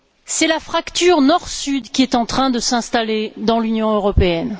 C'est la fracture Nord Sud qui est en train de s'installer dans l'Union européenne.